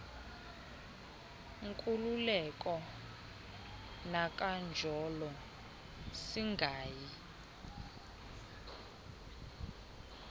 nkululeko kananjolo singayi